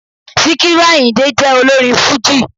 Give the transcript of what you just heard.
Síkírù Àyìndé jẹ́ olórin fújì